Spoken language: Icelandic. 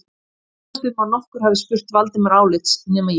Ég efast um að nokkur hafi spurt Valdimar álits nema ég